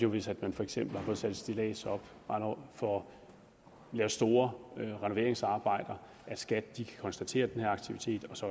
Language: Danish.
hvis man for eksempel har fået sat et stillads op og får lavet store renoveringsarbejder at skat kan konstatere den her aktivitet og så